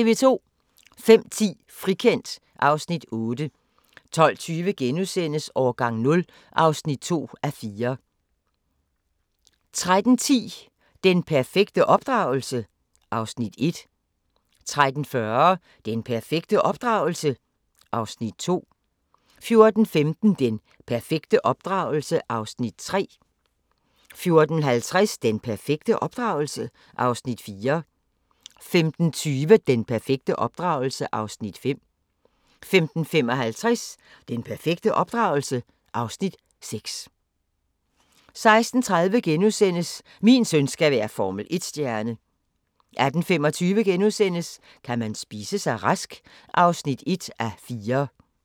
05:10: Frikendt (Afs. 8) 12:20: Årgang 0 (2:4)* 13:10: Den perfekte opdragelse? (Afs. 1) 13:40: Den perfekte opdragelse? (Afs. 2) 14:15: Den perfekte opdragelse? (Afs. 3) 14:50: Den perfekte opdragelse? (Afs. 4) 15:20: Den perfekte opdragelse? (Afs. 5) 15:55: Den perfekte opdragelse? (Afs. 6) 16:30: Min søn skal være Formel 1-stjerne * 18:25: Kan man spise sig rask? (1:4)*